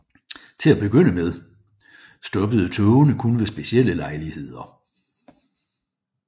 Til at begynde med stoppede togene kun ved specielle lejligheder